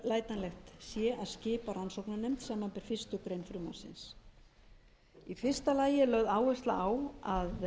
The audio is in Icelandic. að skipa rannsóknarnefnd samanber fyrstu grein frumvarpsins í fyrsta lagi er lögð áhersla á að